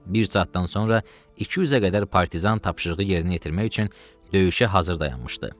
Bir saatdan sonra 200-ə qədər partizan tapşırığı yerinə yetirmək üçün döyüşə hazır dayanmışdı.